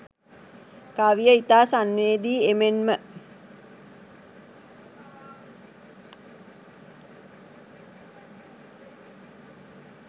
කවිය ඉතා සංවේදී එමෙන්ම